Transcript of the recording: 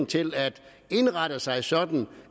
til at indrette sig sådan